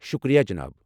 شُکریہ جناب۔